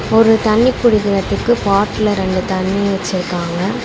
ஒரு தண்ணி புடிக்கறதுக்கு பாட்ல ரெண்டு தண்ணி வெச்சிருக்காங்க.